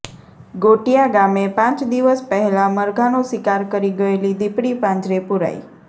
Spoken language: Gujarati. ગોટિયા ગામે પાંચ દિવસ પહેલાં મરઘાનો શિકાર કરી ગયેલી દીપડી પાંજરે પુરાઈ